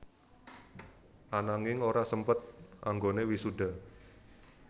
Ananging ora sempet anggoné wisuda